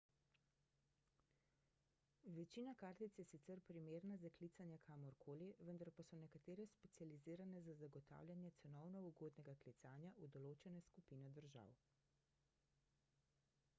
večina kartic je sicer primerna za klicanje kamor koli vendar pa so nekatere specializirane za zagotavljanje cenovno ugodnega klicanja v določene skupine držav